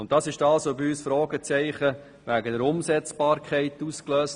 Dies wirft bei uns Fragezeichen bezüglich der Umsetzbarkeit auf.